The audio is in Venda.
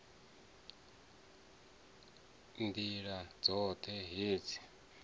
nd ila dzot he u